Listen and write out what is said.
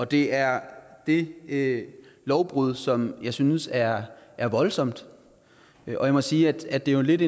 det er det det lovbrud som jeg synes er er voldsomt og jeg må sige at at det jo er lidt